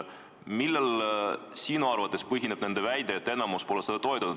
Millel põhineb sinu arvates nende väide, et enamik seda ei toetanud?